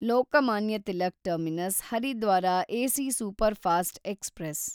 Lokmanya Tilak terminus Haridwar AC superfast express